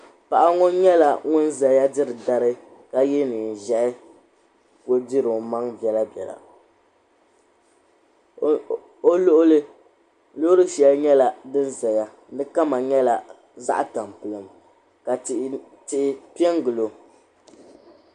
Paɣa ŋɔ nyɛla ŋun zaya diri dari ka ye neen'ʒɛhi kuli diri o maŋa bela bela o luɣili loori shɛli nyɛla din zaya di kama nyɛla zaɣ'tampilim ka tihi pe n-gili o.